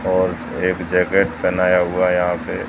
और एक जैकेट पहनाया हुआ यहां पे--